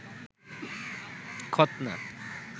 খতনা